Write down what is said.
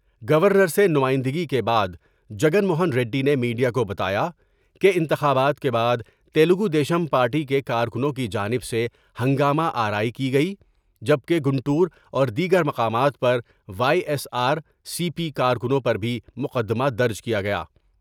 Governor سے نمائندگی کے بعد جگن موہن ریڈی نے میڈیا کو بتایا کہ انتخابات کے بعد تلگودیشم پارٹی کے کارکنوں کی جانب سے ہنگامہ آرائی کی گئی جبکہ کنور اور دیگر مقامات پر Y S R C P کارکنوں پر بھی مقدمہ درج کئے گئے ۔